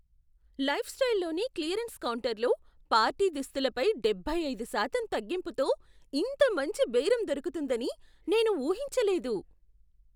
లైఫ్స్టైల్లోని clearance కౌంటర్లో party దుస్తులపై డెబ్బై ఐదు శాతం తగ్గింపుతో ఇంత మంచి బేరం దొరుకుతుందని నేను ఊహించలేదు.